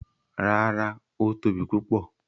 Rárá, ó tóbi púpọ̀.